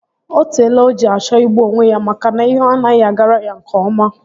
O teela o ji achọ igbu onwe ya maka na ihe anaghị agara ya nke ọma